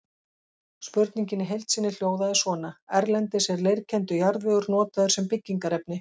Spurningin í heild sinni hljóðaði svona: Erlendis er leirkenndur jarðvegur notaður sem byggingarefni.